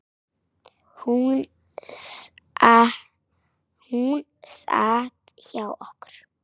Hún sat hjá okkur